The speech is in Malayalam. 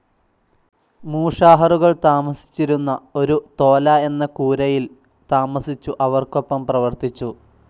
മൂഷാഹറുകൾ താമസിച്ചിരുന്ന ഒരു തോല എന്ന കൂരയിൽ താമസിച്ചു അവർക്കൊപ്പം പ്രവർത്തിച്ചു.